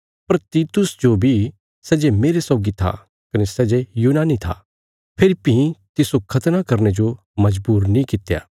पर तीतुस जो बी सै जे मेरे सौगी था कने सै जे यूनानी था फेरी भीं तिस्सो खतना करने जो मजबूर नीं कित्या